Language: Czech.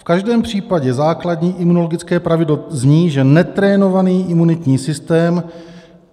"V každém případě základní imunologické pravidlo zní, že netrénovaný imunitní systém -